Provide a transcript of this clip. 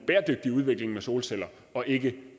bæredygtig udvikling med solceller og ikke